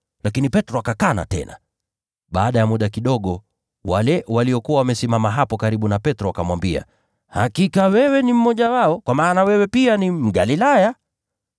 Lakini Petro akakana tena. Baada ya muda kidogo wale waliokuwa wamesimama hapo karibu na Petro wakamwambia, “Hakika wewe ni mmoja wao, kwa maana wewe pia ni Mgalilaya!”